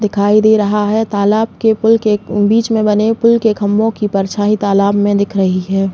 दिखाई दे रहा है तालाब के पुल के बीच में बने पुल के खंबों की परछांई तालाब में दिख रही है।